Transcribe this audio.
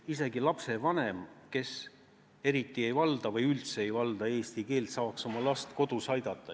Isegi lapsevanem, kes eriti ei valda või üldse ei valda eesti keelt, peab saama oma last kodus aidata.